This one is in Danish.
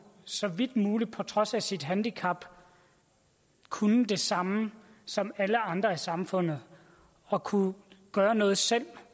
så vidt muligt på trods af sit handicap at kunne det samme som alle andre i samfundet og kunne gøre noget selv